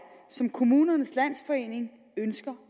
som kommunernes landsforening ønsker